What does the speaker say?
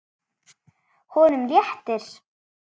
Honum léttir.